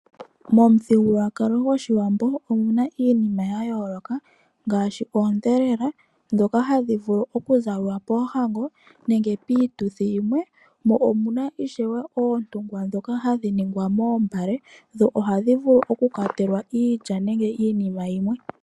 Momuthigululwakalo gwAawambo omuna iinima ya yooloka ngaashi oondheleka ndhoka hadhi vulu okuzalwa poohango nenge piituthi yimwe. Omuna ishewe oondungwa ndhoka hadhi ningwa moombale dho ohadhi vulu okukwatelwa iilya nenge iinima yimwe.